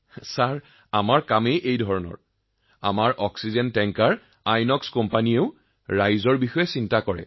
মহোদয় আমাৰ কামেই এনেকুৱা আমাৰ কোম্পানী আইএনঅএক্স কোম্পানীয়েও আমাৰ লোকসকলৰ যথেষ্ট যত্ন লয়